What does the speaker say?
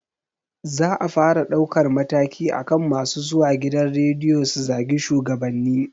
Za a fara ɗaukar mataki akan masu zuwa gidan rediyo su zagi shugabanni